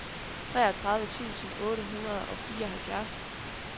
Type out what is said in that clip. treogtredive tusind otte hundrede og fireoghalvfjerds